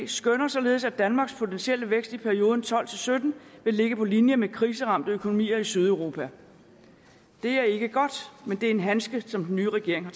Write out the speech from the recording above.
skønner således at danmarks potentielle vækst i perioden tolv til sytten vil ligge på linje med væksten i kriseramte økonomier i sydeuropa det er ikke godt men det er en handske som den nye regering har